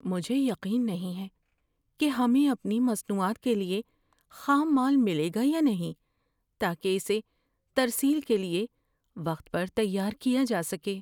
مجھے یقین نہیں ہے کہ ہمیں اپنی مصنوعات کے لیے خام مال ملے گا یا نہیں تاکہ اسے ترسیل کے لیے وقت پر تیار کیا جا سکے۔